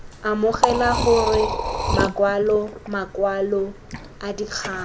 amogela gore makwalo makwalo adikgang